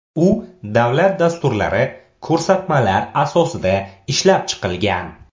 U davlat dasturlari, ko‘rsatmalar asosida ishlab chiqilgan.